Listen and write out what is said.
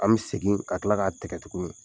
An bɛ segin ka tila k'a tɛgɛ tuguni.